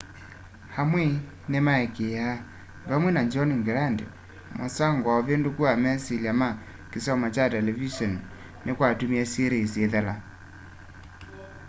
amwe nimaikiaa vamwe na john grant musango na uvinduku wa mesilya ma kisomo kya televiseni nikwatumie series ithela